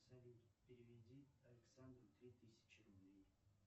салют переведи александру три тысячи рублей